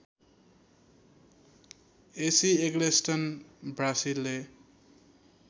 AC Eggleston ब्रासीले